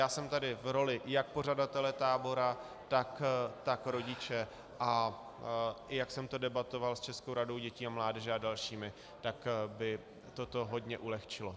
Já jsem tady v roli jak pořadatele tábora, tak rodiče, a i jak jsem to debatoval s Českou radou dětí a mládeže a dalšími, tak by toto hodně ulehčilo.